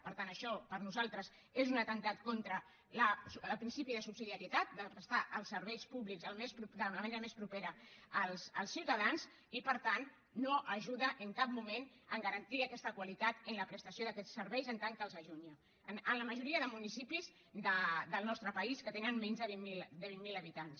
per tant això per nosaltres és un atemptat contra el principi de subsidiarietat de prestar els serveis públics de la manera més propera als ciutadans i per tant no ajuda en cap moment a garantir aquesta qualitat en la prestació d’aquests serveis en tant que els allunya en la majoria de municipis del nostre país que tenen menys de vint mil habitants